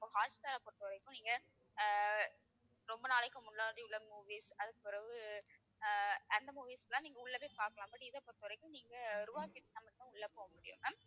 இப்போ ஹாட்ஸ்டாரை பொறுத்தவரைக்கும் நீங்க அஹ் ரொம்ப நாளைக்கு முன்னாடி உள்ள movies அதுக்குப் பிறகு அஹ் அந்த movies எல்லாம் நீங்க உள்ள போய்ப் பார்க்கலாம் but இதைப் பொறுத்தவரைக்கும் நீங்க ரூபாய் கட்டினா மட்டும் தான் உள்ள போக முடியும் ma'am.